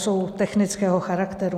Jsou technického charakteru.